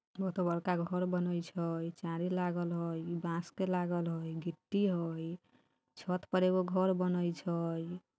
हो त बड़का एगो घर बनत छई चारी लागल हई बांस लागल हई गिट्टी हई छत पर एगो बनत छई।